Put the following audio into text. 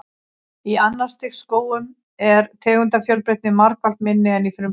Í annars stigs skógum er tegundafjölbreytni margfalt minni en í frumskógum.